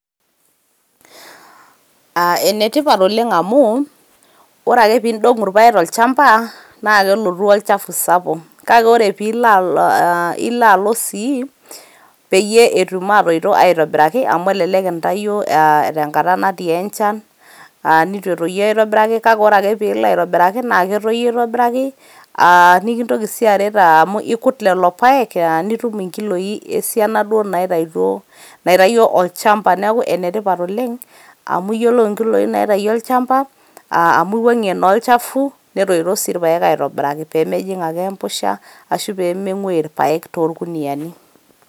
Aa ene tipat oleng amu ore ake pidongu irpaek tolchamba naa kelotu olchafu sapuk .kake ore pilo alo ,ilo alo sii peyie etum atoito aitobiraki amu elelek intayio aa tenkata enchan neitu etoyu aitobiraki kake ore ake pilo aiitobiraki naa ketoyu aitobiraki . aa nikintoki sii aitobiraki amu ikut lelo paek aa nitum nkiloi esiana duo naitaito ,naitayio olchamba . niaku ene tipat oleng amu iyiolou nkiloi naitayio olchamba aa amu iwuangie naa olchafu netoito sii irpaek aitoiraki pemejing ake empusha ashu pemenguoyu irpaek toorkuniani.